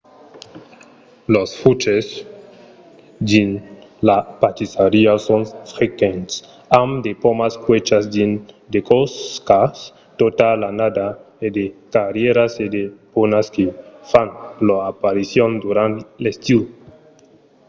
los fruches dins la pastissariá son frequents amb de pomas cuèchas dins de còcas tota l'annada e de cerièras e de prunas que fan lor aparicion durant l’estiu